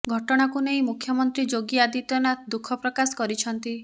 ଘଟଣାକୁ ନେଇ ମୁଖ୍ୟମନ୍ତ୍ରୀ ଯୋଗୀ ଆଦିତ୍ୟନାଥ ଦୁଃଖ ପ୍ରକାଶ କରିଛନ୍ତି